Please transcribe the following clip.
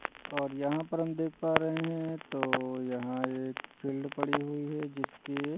और यहाँ पर हम देख पा रहे हैं तो यहाँ एक फील्ड पड़ी हुई है जिसके--